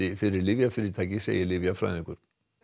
fyrir lyfjafyrirtæki segir lyfjafræðingur